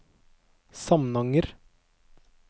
Samnanger